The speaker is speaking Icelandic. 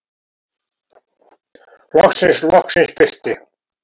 Loksins, loksins birti.